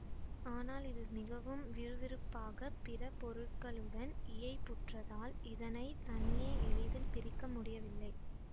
ஆனால் இது மிகவும் விறுவிறுப்பாக பிற பொருட்களுடன் இயைபுற்றதால் இதனை தனியே எளிதில் பிரிக்கமுடியவில்லை